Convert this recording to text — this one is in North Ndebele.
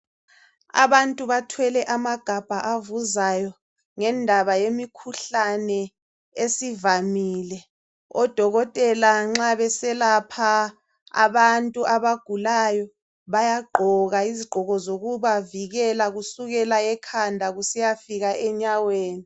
Abantu athwele magabha avuzayo ngendaba yemikhuhlane esivamile. ODokotela nxa beselapha abantu abagulayo bayagqoka izigqoko zokubavikela kusukela ekhanda kusiyafika enyaweni.